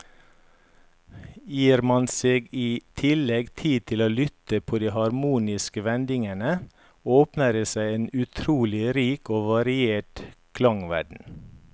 Gir man seg i tillegg tid til å lytte på de harmoniske vendingene, åpner det seg en utrolig rik og variert klangverden.